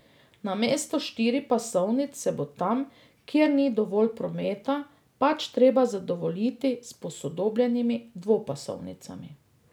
Namesto štiripasovnic se bo tam, kjer ni dovolj prometa, pač treba zadovoljiti s posodobljenimi dvopasovnicami.